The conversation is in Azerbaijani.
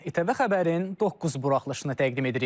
ATV xəbərin doqquz buraxılışını təqdim edirik.